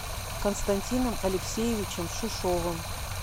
константином алексеевичем шишовым